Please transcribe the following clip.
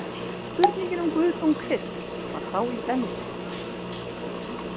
Spurningin um guðdóm Krists var þá í brennidepli.